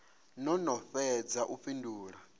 no no fhedza u fhindula